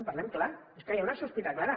parlem clar és que hi ha una sospita clara